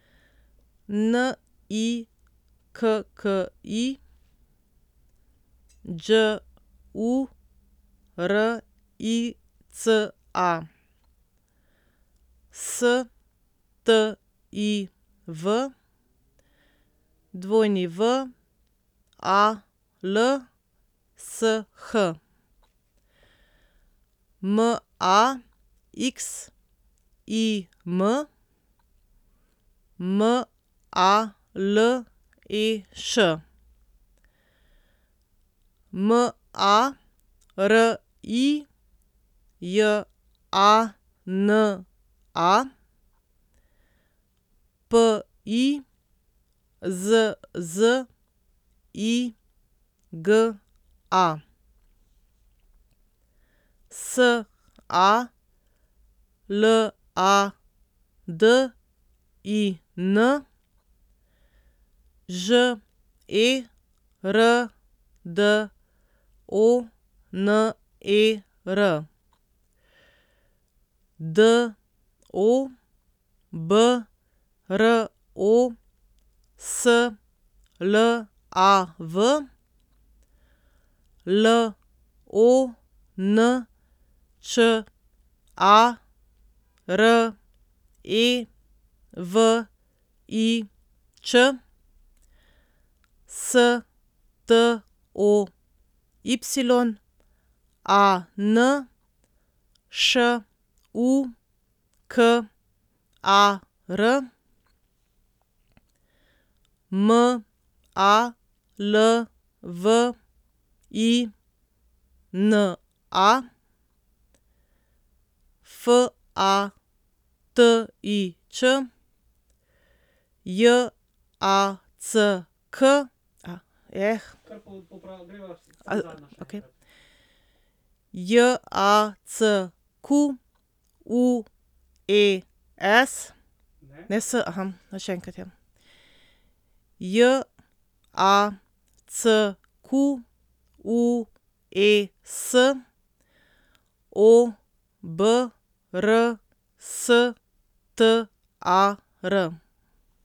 N I K K I, Đ U R I C A; S T I V, W A L S H; M A X I M, M A L E Š; M A R I J A N A, P I Z Z I G A; S A L A D I N, Ž E R D O N E R; D O B R O S L A V, L O N Č A R E V I Č; S T O Y A N, Š U K A R; M A L V I N A, F A T I Ć; J A C K kar popravi, okej J A C Q U E S ne S še enkrat, ja, J@ A C@ Q U E S, O B R S T A R.